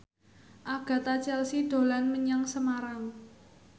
Agatha Chelsea dolan menyang Semarang